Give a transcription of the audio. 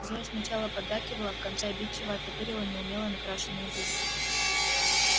зоя сначала поддакивала а в конце обидчиво оттопырила неумело накрашенные губы